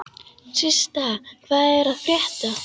Systa, hvað er að frétta?